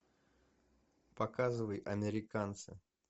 показывай американцы